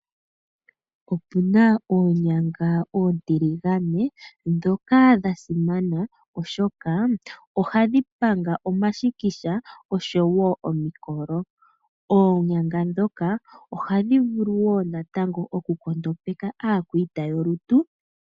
Opuna oonyanga oontiligane ndhoka dha simana oshoka ohadhi panga omashikisha oshowo omikolo. Oonyanga ndhoka ohadhi vulu wo natango oku nkondopeka aakwiita yolutu.